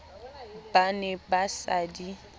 ba ne ba sa di